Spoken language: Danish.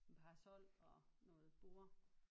Parasol og noget borde